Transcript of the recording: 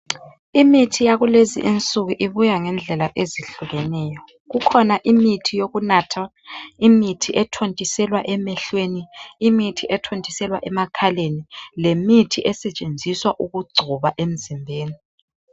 Imithi yakulezi insuku ibuya ngezindlela ezihlukeneyo. Kukhona eyokunatha, ethontiselwa emehlweni, ethontiselwa emakhaleni, lesetshenziswa ukugcoba emzimbeni.